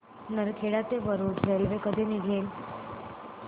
नरखेड ते वरुड रेल्वे कधी निघेल